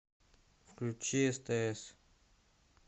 включи стс